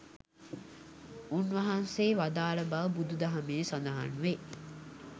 උන්වහන්සේ වදාළ බව බුදු දහමේ සඳහන්වේ.